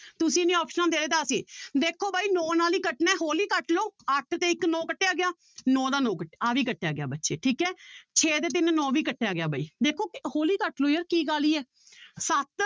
ਤੁਸੀਂ ਨੀ ਆਪਸਨਾਂ ਦੇ ਰਹੇ ਤਾਂ ਅਸੀਂ ਦੇਖੋ ਬਾਈ ਨੋਂ ਨਾਲ ਹੀ ਕੱਟਣਾ ਹੈ ਹੌਲੀ ਕੱਟ ਲਓ, ਅੱਠ ਤੇ ਇੱਕ ਨੋਂ ਕੱਟਿਆ ਗਿਆ ਨੋਂ ਦਾ ਨੋਂ ਕੱਟ~ ਆਹ ਵੀ ਕੱਟਿਆ ਗਿਆ ਬੱਚੇ ਠੀਕ ਹੈ ਛੇ ਤੇ ਤਿੰਨ ਨੋਂ ਵੀ ਕੱਟਿਆ ਗਿਆ ਬਾਈ ਦੇਖੋ ਹੌਲੀ ਕੱਟ ਲਓ ਯਾਰ ਕੀ ਕਾਹਲੀ ਹੈ ਸੱਤ